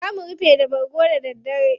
Za mu rufa da bargo da daddare.